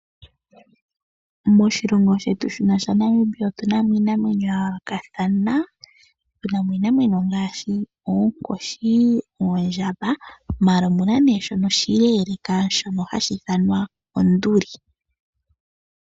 Moshilongo shetu shino shaNamibia otu na mo iinamwenyo ya yoolokathana, tu na mo iinamwenyo ngaashi oonkoshi noondjamba ashike omu na shono oshileleka shono hashi ithanwa onduli.